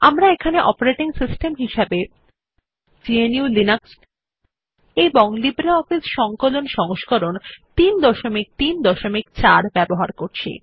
আমরা এখানে operating system হিসাবে গ্নু লিনাক্স এবং লিব্রিঅফিস সংকলন সংস্করণ ৩৩৪ ব্যবহার করছি